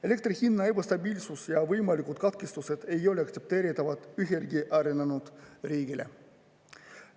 Elektri hinna ebastabiilsus ja võimalikud katkestused ei ole aktsepteeritavad ühelegi arenenud riigile.